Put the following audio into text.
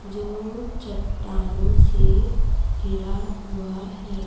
जो चट्टानों से घिरा हुआ है।